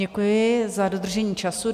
Děkuji za dodržení času.